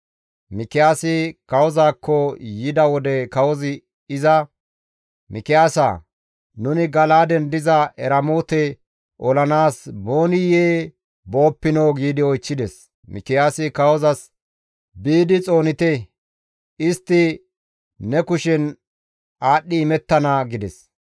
Mikiyaasikka kawozaakko yida wode kawozi iza, «Mikiyaasa, nuni Gala7aaden diza Eramoote olanaas booniyee booppinoo?» giidi oychchides. Mikiyaasi kawozas, «Biidi xoonite; istti ne kushen aadhdhi imettana» gides.